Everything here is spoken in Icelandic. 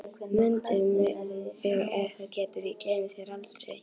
Mundu mig ef þú getur, ég gleymi þér aldrei